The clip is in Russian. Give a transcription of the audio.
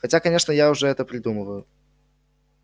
хотя конечно это я уже придумываю